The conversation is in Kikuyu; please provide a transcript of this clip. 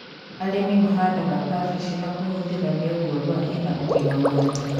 Arĩmi mahandaga kambĩji na kũhũthĩra mĩũngũrwa ĩna ũgima mwega